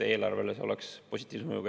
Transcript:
Ehk eelarvele oleks see positiivse mõjuga.